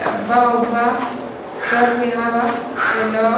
डब्बा-उब्बा सब यहाँ बा के लो --